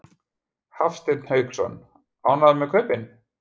Hafsteinn Hauksson: Ánægður með kaupin?